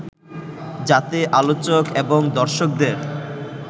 যাতে আলোচক এবং দর্শকদের